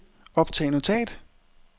optag notat